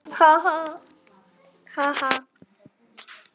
Ha ha.